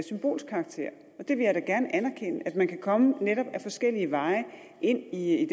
symbolsk karakter det vil jeg gerne anerkende altså at man kan komme netop ad forskellige veje ind i